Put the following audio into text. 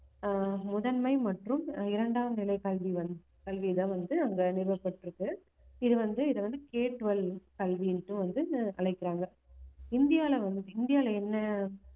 ஆஹ் முதன்மை மற்றும் இரண்டாம் நிலைக் கல்வி வந்~ கல்விதான் வந்து அங்க நிறுவப்பட்டிருக்கு இது வந்து இதை வந்து Ktwelve கல்வின்ட்டு வந்து அழைக்கிறாங்க இந்தியால வந்~ இந்தியால என்ன